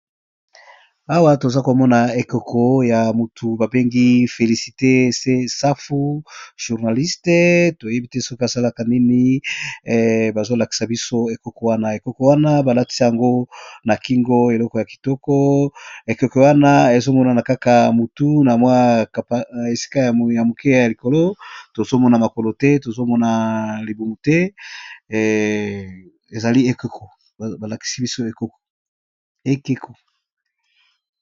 awa toza komona ekoko ya motu babengi felisite se safu journaliste toyebi te soki asalaka nini bazolakisa biso ekoko wana ekoko wana balatis yango na kingo eloko ya kitoko ekoko wana ezomonana kaka motu na mwakna esika ya moke ya likolo tozomona makolo te tozomona libumu te ezali balakisi biso ekeko